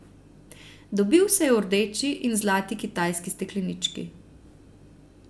Dobil se je v rdeči in zlati kitajski steklenički.